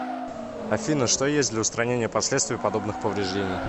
афина что есть для устранения последствий подобных повреждений